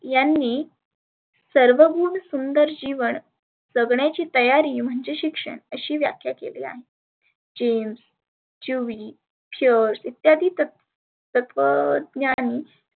यांनी सर्वगुण सुंदर जिवन जगण्याची तयारी म्हणजे शिक्षण. आशी व्याख्या केली आहे. Jeans, chuvi, sharp इत्यादी तत्व तत्वज्ञानी